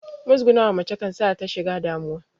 Muzgunawa mace kan sa ta shiga damuwa